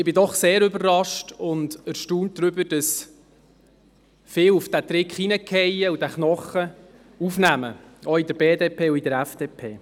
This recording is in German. Ich bin doch sehr überrascht und erstaunt darüber, dass viele auf diesen Trick hereinfallen und diesen Knochen aufnehmen, auch in der BDP und in der FDP.